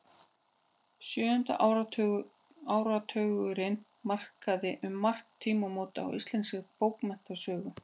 Sjöundi áratugurinn markaði um margt tímamót í íslenskri bókmenntasögu.